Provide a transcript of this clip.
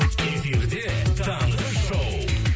эфирде таңғы шоу